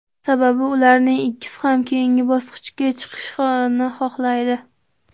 Sababi ularning ikkisi ham keyingi bosqichga chiqishni xohlaydi.